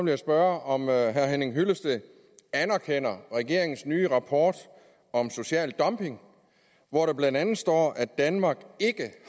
jeg spørge om herre henning hyllested anerkender regeringens nye rapport om social dumping hvor der blandt andet står at danmark ikke